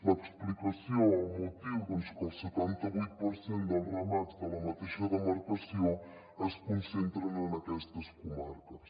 l’explicació el motiu doncs que el setanta vuit per cent dels ramats de la mateixa demarcació es concentren en aquestes comarques